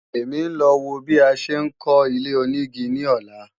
Èmi ń lọ wo bí a ṣe ń kọ́ ilé-onígi ní ọ̀la